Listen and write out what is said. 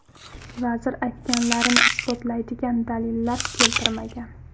Vazir aytganlarini isbotlaydigan dalillar keltirmagan.